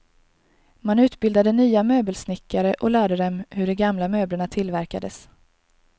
Man utbildade nya möbelsnickare och lärde dem hur de gamla möblerna tillverkades.